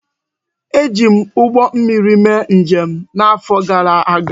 E ji m ụgbọ mmiri mee njem n'afọ gara aga